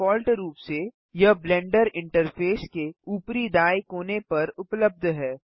default रूप से यह ब्लेंडर इंटरफेस के ऊपरी दाएँ कोने पर उपलब्ध है